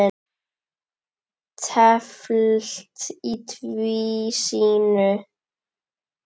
Teflt í tvísýnu